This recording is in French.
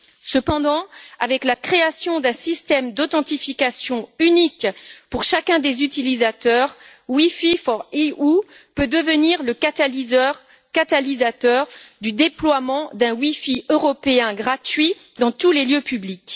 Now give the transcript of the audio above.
Cependant, avec la création d'un système d'authentification unique pour chacun des utilisateurs, WiFi4EU peut devenir le catalyseur du déploiement d'un wifi européen gratuit dans tous les lieux publics.